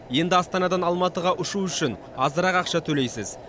енді астанадан алматыға ұшу үшін азырақ ақша төлейсіз